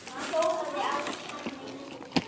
Hjólaði á henni miðri.